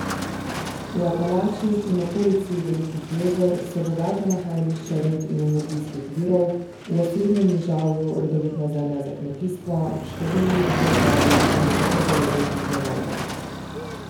V Apalačih in okolici Velikih jezer so bogata nahajališča rud in energijskih virov, v Osrednjem nižavju rodovitna zemlja za kmetijstvo, številni gozdovi in velike zaloge pitne vode.